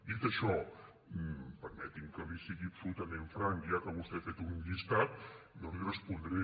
dit això permeti’m que li sigui absolutament franc ja que vostè ha fet un llistat jo l’hi respondré